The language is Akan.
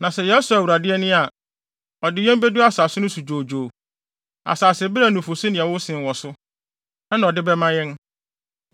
Na sɛ yɛsɔ Awurade ani a, ɔde yɛn bedu asase no so dwoodwoo, asase bere a nufusu ne ɛwo sen wɔ so, na ɔde bɛma yɛn.